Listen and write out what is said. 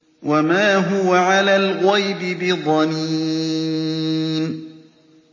وَمَا هُوَ عَلَى الْغَيْبِ بِضَنِينٍ